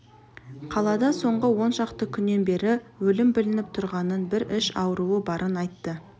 қалада соңғы он шақты күннен бері өлім білініп тұрғанын бір іш ауруы барын айтты